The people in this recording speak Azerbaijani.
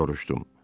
Soruşdum.